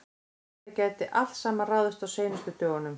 Þetta gæti allt saman ráðist á seinustu dögunum.